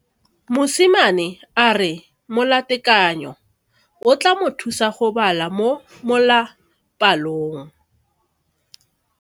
Mosimane a re molatekanyo o tla mo thusa go bala mo molapalong.